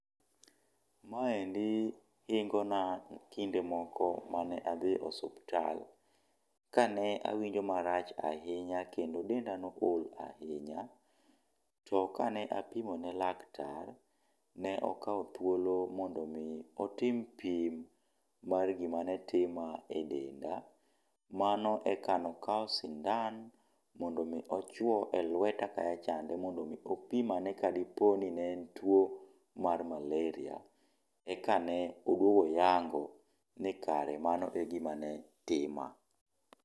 Maendi ingona kinde moko mane adhi e osuptal. Kane awinjo marach ahinya kendo denda ne o ol ahinya. To kane apimo ne laktar, ne okaw thuolo mondo mi otim pim mar gima ne tima e denda. Mano eka ne okaw sindan mondo mi ochwo e lweta kacha chande mondi omi opim ane ka di po ni ne en tuo mar malaria. Eka ne odwogo oyango ni kare mano e gima ne tima.